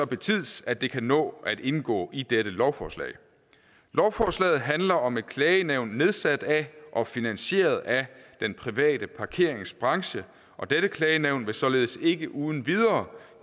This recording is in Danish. betids at det kan nå at indgå i dette lovforslag lovforslaget handler om et klagenævn nedsat af og finansieret af den private parkeringsbranche og dette klagenævn vil således ikke uden videre